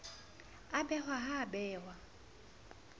a behwe ha a behwe